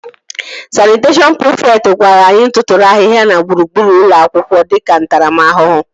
Sanịteshọn prịfekt gwara anyị tụtụrụ ahịhịa na gburugburu ụlọ akwụkwọ dịka ntaramahụhụ